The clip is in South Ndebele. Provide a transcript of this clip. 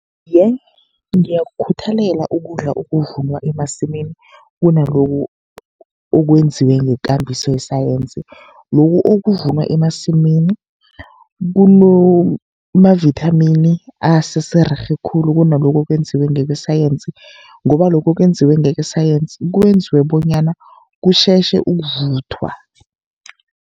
Iye, ngiyakukhuthalela ukudla okuvunwa emasimini, kunalokhu okwenziwe ngekambiso yesayensi. Lokhu okuvunwa emasimini kunamavithamini asesererhe khulu kunalokhu okwenziwe ngokwesayensi, ngoba lokhu okwenziwe ngesayensi kwenziwe bonyana kutjhetjhe ukuvuthwa.